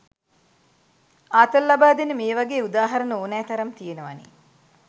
ආතල් ලබාදෙන මේ වගේ උදාහරන ඕනෑතරම් තියෙනවනේ